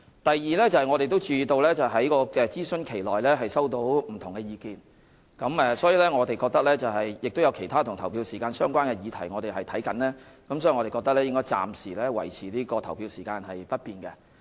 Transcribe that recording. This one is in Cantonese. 第二，我們注意到在諮詢期內收到不同的意見，而我們正檢視其他與投票時間相關的議題，因此我們認為應暫時維持投票時間不變。